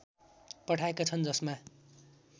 पठाएका छन् जसमा